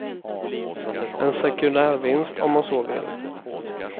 En sekundärvinst, om man så vill.